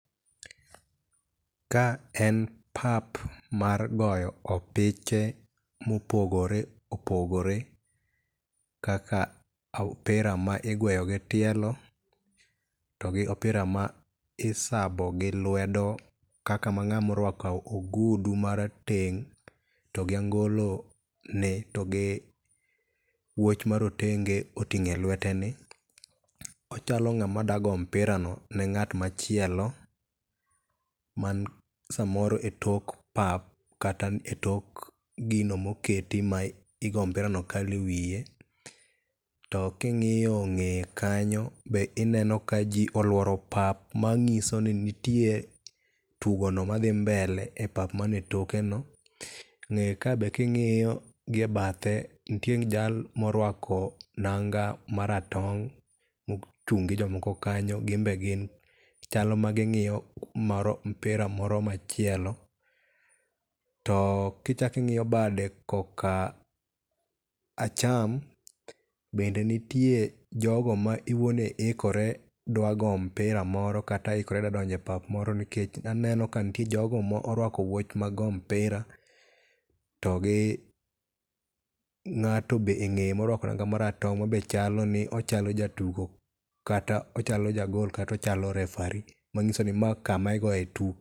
Ka en pap mar goyo opiche mopogore opogore kaka opira ma igweyo gi tielo to gi opira ma isabo gi lwedo kaka ma ng'amo rwako ogudu marateng',to gi angolo ni to gi wuoch marotenge oting'o e lweteni. Ochalo ng'ama dago opirani ni ng'at machielo man samoro e tok pap kata e tok gino moketi ma igo mpirano kalo e wiye, to king'iyo ng'eye kanyo, be ineno ka ji olworo pap ,mang'iso ni nitie tugono madhi mbele e pap mane tokeno, ng'eye ka be king'iyo gi e bathe, nitie jal morwako nanga maratong' mochung' gi jomoko kanyo, gin be gin chal maging'iyo mpira moro machielo. To kichako ing'iyo bade koka acham, bende nitie jogo ma iweni ikore dwa go mpira moro kata ikore dwa donjo e pap moro nikech aneno ka nitie jogo morwako woch mag goyo mpira to gi ng'ato be e ng'eye morwako nanga maratong' ma be chalo ni, ochalo jatugo kata ochalo jagol kata ochalo referree manyiso ni ma kama igoye tugo.